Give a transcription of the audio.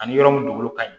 Ani yɔrɔ min dugukolo ka ɲi